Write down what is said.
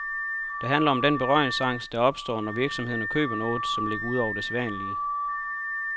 Det handler om den berøringsangst, der opstår, når virksomhederne køber noget, som ligger ud over det sædvanlige.